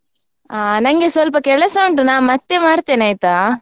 ಆ ನಂಗೆ ಸ್ವಲ್ಪ ಕೆಲಸ ಉಂಟು ನಾ ಮತ್ತೆ ಮಾಡ್ತೇನೆ ಆಯ್ತಾ?